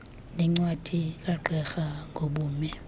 nencwadi kagqirha ngobume